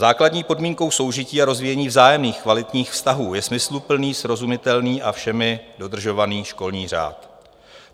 "Základní podmínkou soužití a rozvíjení vzájemných kvalitních vztahů je smysluplný, srozumitelný a všemi dodržovaný školní řád.